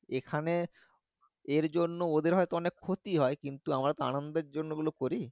এখানে এর জন্যে ওদের হইত অনেক ক্ষতি হয় কিন্তু আমরা তো আনন্দের জন্য এগুলো করি